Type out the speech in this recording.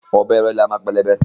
Ọ̀bẹ ìrẹ̀lẹ́ a máa pẹlẹbẹ